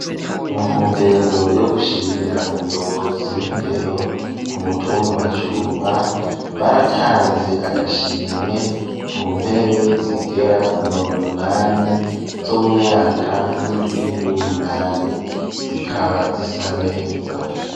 Mu ntumbero yo gushimira umuyobozi w'indero ku mutumba wa Cumba baratanze agashimwe ku ntebe zigera ku mirongo munani zo mu myaka y'indwino niyu umunani zikaba zisa neza.